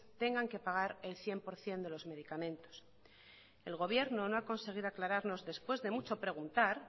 tengan que pagar el cien por ciento de los medicamentos el gobierno no ha conseguido aclararnos después de mucho preguntar